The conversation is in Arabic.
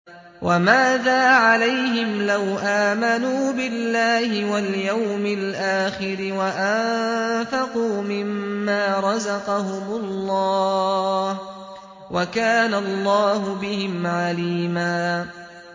وَمَاذَا عَلَيْهِمْ لَوْ آمَنُوا بِاللَّهِ وَالْيَوْمِ الْآخِرِ وَأَنفَقُوا مِمَّا رَزَقَهُمُ اللَّهُ ۚ وَكَانَ اللَّهُ بِهِمْ عَلِيمًا